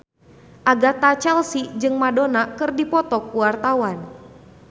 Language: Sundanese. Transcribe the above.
Agatha Chelsea jeung Madonna keur dipoto ku wartawan